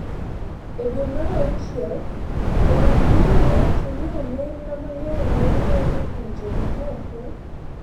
E dwe mar auchiel, jong'ad bura nowacho ni omenda mang’eny ma wuok e pinje ma oko